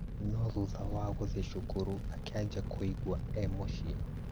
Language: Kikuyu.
No thutha wa gũthiĩ cukuru, akianjia kũigua emũciĩ